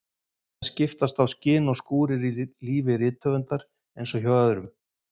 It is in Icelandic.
En það skiptast á skin og skúrir í lífi rithöfundar eins og hjá öðrum.